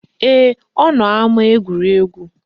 Ee, ọ nọ n'ama egwuregwu